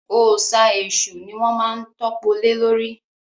Òòsà èṣù ni wọ́n má ń tọ́po lé lórí